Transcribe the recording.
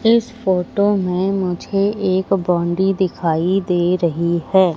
इस फोटो में मुझे एक बाउंड्री दिखाई दे रही है।